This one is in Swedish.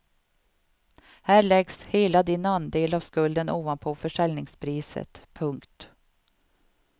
Här läggs hela din andel av skulden ovanpå försäljningspriset. punkt